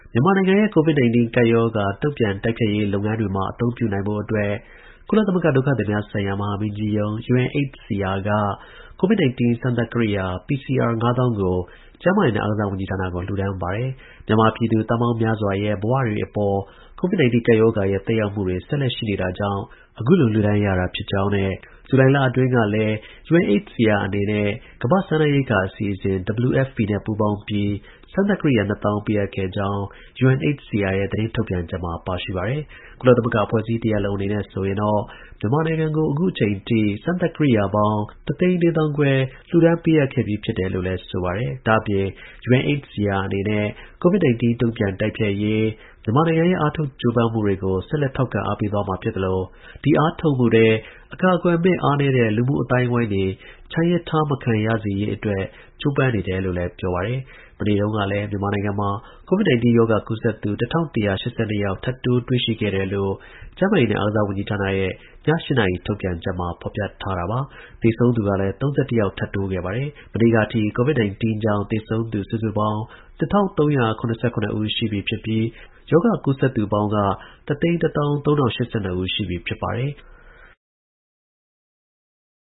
မြန်မာနိုင်ငံရဲ့COVID 19ကပ်ရောဂါ တုန့်ပြန်တိုက်ဖျက်ရေးလုပ်ငန်းတွေမှာ အသုံးပြုနိုင်ဖို့အတွက် ကုလသမဂ္ဂ ဒုက္ခသည်များဆိုင်ရာ မဟာမင်းကြီးရုံး (UNHCR) က COVID19 စမ်းသပ်ကိရိယာ PCR ၅၀,၀၀၀ ကို ကျန်းမာရေးနဲ့အားကစားဝန်ကြီးဌာနကို လှူဒါန်းပါတယ်။ မြန်မာပြည်သူ သန်းပေါင်းများစွာရဲ့ ဘဝတွေအပေါ် COVID 19ကပ်ရောဂါရဲ့ သက်ရောက်မှုတွေ ဆက်လက်ရှိနေတာကြောင့် အခုလိုလှူဒါန်းရတာ ဖြစ်ကြောင်းနဲ့ ဇူလိုင်လအတွင်းကလည်း UNHCR အနေနဲ့ ကမ္ဘာ့ စားနပ်ရိက္ခာအဖွဲ့ (WFP) နဲ့ ပူးပေါင်းပြီးစမ်းသပ်ကိရိယာ ၂၀, ၀၀၀ ပေးအပ်ခဲ့ကြောင်း UNHCR ရဲ့ သတင်းထုတ်ပြန်ချက်မှာပါရှိပါတယ်။ ကုလသမဂ္ဂအဖွဲအစည်းတစ်ရပ်လုံး အနေနဲ့ဆိုရင်တော့ မြန်မာနိုင်ငံကိုအခုအချိန်အထိ စမ်းသပ်ကိရိယာ ၁၄၅,၀၀၀ လှူဒါန်းပေးအပ် ခဲ့ပြီးပြီလို့လည်း ဆိုပါတယ်။ ဒါ့အပြင် UNHCR အနေနဲ့ COVID 19 တုန့်ပြန်တိုက်ဖျက်ရေး မြန်မာနိုင်ငံရဲ့ အားထုတ်ကြိုးပမ်းမှုတွေကို ဆက်လက် ထောက်ခံအား ပေးသွားမှာ ဖြစ်သလို ဒီ အားထုတ်မှုထဲ အကာအကွယ်မဲ့ အားနည်းတဲ့ လူမှုအသိုင်းအဝိုင်းတွေ ချန်ရစ်ထား မခံရစေရေး အတွက် ကြိုးပမ်းနေတယ်လို့လည်း ပြောပါတယ်။ ဒီအတောအတွင်း မြန်မာနိုင်ငံမှာ COVID-19 ရောဂါကူးစက်သူ ၁,၁၈၂ ယောက် ထပ်တိုးတွေ့ရှိတယ်လို့ ကျန်းမာရေးနဲ့ အားကစား ဝန်ကြီးဌာနရဲ့ ည ၈ နာရီ ထုတ်ပြန်ချက်မှာ ဖော်ပြထားတာပါ။ သေဆုံးသူကလည်း ၃၁ ယောက် ထပ်တိုးခဲ့ပါတယ်။ရက်အတန်ကြာ အတွင်း ပထမဆုံးအကြိမ် သေဆုံးသူအရေအတွက်အယောက် ၃ဝ ကျော်တာ ဖြစ်ပါတယ်။ မနေ့ကအထိ COVID 19 ကြောင့် သေဆုံးသူ စုစုပေါင်း ၂,၃၇၇ ဦး ရှိပြီး ရောဂါပိုး ကူးစက်သူ ပေါင်းက ၁၁၃,၀၈၂ ဦး ရှိပြီ ဖြစ်ပါတယ်။